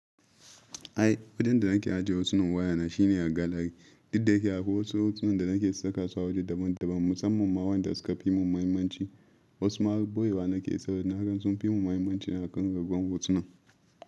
Ai, wajen da nake ajiye hotunan wayana shine a gallary. Duk da yake akwai wasu hotunan da nake saka su a waje daban daban musamman ma wanda suka fi mun mahimmanci. Wasu ma har ɓoye wa nake saboda naga sun fi mun mahimmanci a kan rugawan hotunan.